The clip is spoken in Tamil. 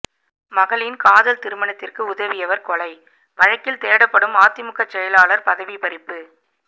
மகளின் காதல் திருமணத்திற்கு உதவியவர் கொலை வழக்கில் தேடப்படும் அதிமுக செயலாளர் பதவி பறிப்பு